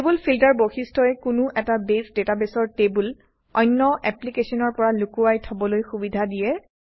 table filter বৈশিষ্ট্যই কোনো এটা বেছ ডাটাবেছৰ টেবুল অন্য এপ্লিকেশ্যনৰ পৰা লুকুৱাই থবলৈ সুবিধা দিয়ে